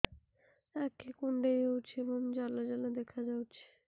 ଆଖି କୁଣ୍ଡେଇ ହେଉଛି ଏବଂ ଜାଲ ଜାଲ ଦେଖାଯାଉଛି